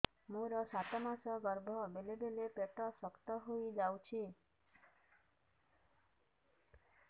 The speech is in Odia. ମୋର ସାତ ମାସ ଗର୍ଭ ବେଳେ ବେଳେ ପେଟ ଶକ୍ତ ହେଇଯାଉଛି